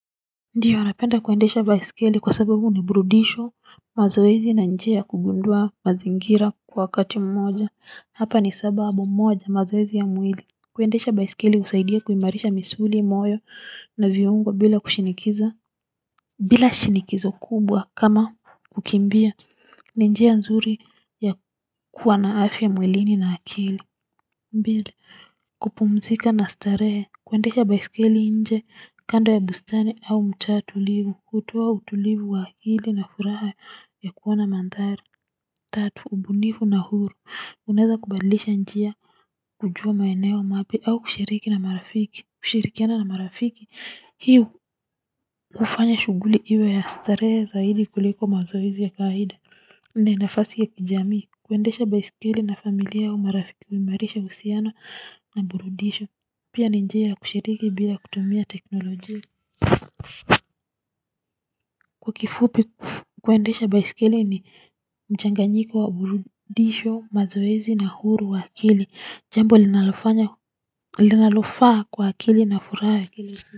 Ndio napenda kuendesha baiskeli kwa sababu ni burudisho, mazoezi na njia ya kugundua mazingira kwa wakati mmoja hapa ni sababu moja mazoezi ya mwili kuendesha baiskeli husaidia kuimarisha misuli moyo na viungwa bila kushinikiza. Bila shinikizo kubwa kama kukimbia ni njia nzuri ya kuwa na afya mwilini na akili mbili kupumzika na starehe kuendesha baisikeli nje kando ya bustani au mcha tulivu kutoa utulivu wa akili na furaha ya kuona mandhari tatu ubunifu na huru unaweza kubadlisha njia kujua maeneo mapya au kushiriki na marafiki kushirikiana na marafiki hio kufanya shughuli iwe ya starehe zaidi kuliko mazoezii ya kawaida ni nafasi ya kijamii kuendesha baiskeli na familia au marafiki huimarisha uhusiano na burudisho pia ni njia ya kushiriki bila kutumia teknolojia kwa kifupi kuendesha baiskeli ni mchanganyiko wa burudisho mazoezi na huru wa akili jambo linalofaa kwa akili na furaha.